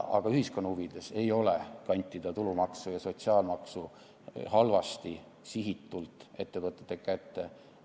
Aga ühiskonna huvides ei ole kantida tulumaksu ja sotsiaalmaksu halvasti, sihitult ettevõtete kätte.